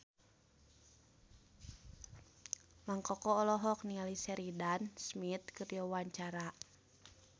Mang Koko olohok ningali Sheridan Smith keur diwawancara